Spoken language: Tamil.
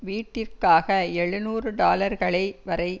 வீட்டிற்காக எழுநூறு டாலர்களை வரை